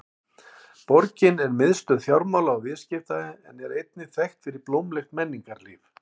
Borgin er miðstöð fjármála og viðskipta en er einnig þekkt fyrir blómlegt menningarlíf.